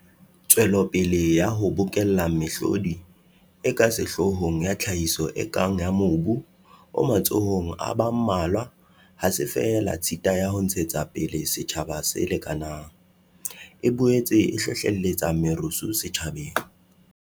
Tswelopele ya ho bokella mehlodi e ka sehloohong ya tlhahiso e kang ya mobu o matsohong a ba mmalwa ha se feela tshita ya ho ntshetsa pele setjhaba se lekanang, e boetse e hlohlelletsa merusu setjhabeng.